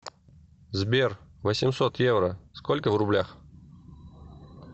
сбер восемьсот евро сколько в рублях